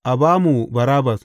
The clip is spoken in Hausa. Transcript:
A ba mu Barabbas!